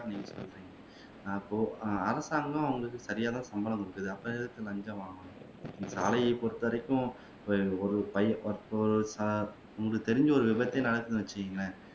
அரசாங்கம் வந்துட்டு சரியான சம்பளம் குடுக்குதே அப்ப எதுக்கு லஞ்சம் வாங்கணும் சாலையை பொறுத்த வரைக்கும் ஒரு உங்களுக்கு தெரிஞ்ச ஒரு விபத்து நடக்குதுன்னு வச்சிக்கொங்களேன்